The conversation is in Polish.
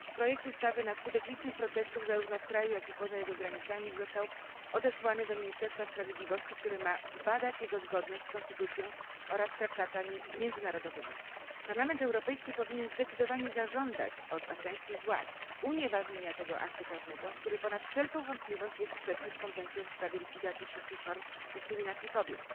Projekt ustawy na skutek licznych protestów, zarówno w kraju jak i poza jego granicami, został odesłany do Ministerstwa Sprawiedliwości, które ma zbadać jego zgodność z konstytucją oraz traktatami międzynarodowymi. Parlament Europejski powinien zdecydowanie zażądać od afgańskich władz unieważnienia tego aktu prawnego, który ponad wszelką wątpliwość jest sprzeczny z Konwencją w sprawie likwidacji wszelkich form dyskryminacji kobiet.